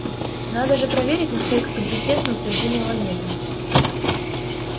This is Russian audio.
надо же проверить насколько компетентны утверждения ламета